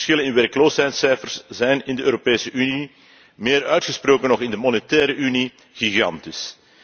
De verschillen in werkloosheidscijfers zijn in de Europese Unie, meer uitgesproken nog in de monetaire Unie, gigantisch.